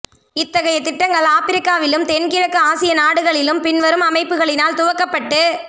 இத்தகைய திட்டங்கள் ஆப்பிரிக்காவிலும் தென்கிழக்கு ஆசிய நாடுகளிலும் பின்வரும் அமைப்புகளினால் துவக்கப்பட்டு